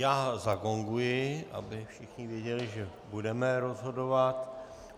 Já zagonguji, aby všichni věděli, že budeme rozhodovat.